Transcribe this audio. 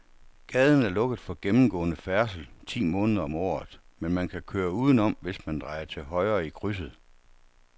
Gaden er lukket for gennemgående færdsel ti måneder om året, men man kan køre udenom, hvis man drejer til højre i krydset.